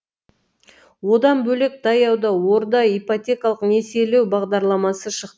одан бөлек таяуда орда ипотекалық несиелеу бағдарламасы шықты